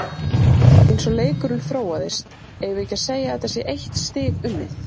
Eins og leikurinn þróaðist, eigum við ekki segja að þetta sé eitt stig unnið?